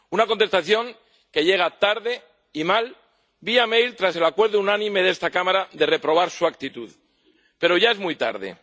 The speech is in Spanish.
Una contestación que llega tarde y mal, vía tras el acuerdo unánime de esta Cámara de reprobar su actitud, pero ya es muy tarde.